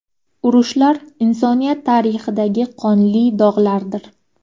Urushlar insoniyat tarixidagi qonli dog‘lardir.